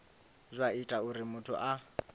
zwa ita uri muthu a